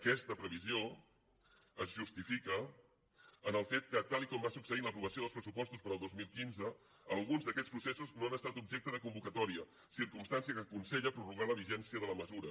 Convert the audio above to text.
aquesta previsió es justifica pel fet que tal com va succeir en l’aprovació dels pressupostos per al dos mil quinze alguns d’aquests processos no han estat objecte de convocatòria circumstància que aconsella prorrogar la vigència de la mesura